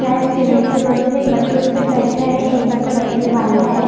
शायद सीमेंट से बने है र एक बच्चा उसपे बैठा है एक बच्चा बैठने वाला है--